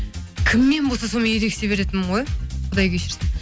кіммен болса сонымен ерегісе беретінмін ғой құдай кешірсін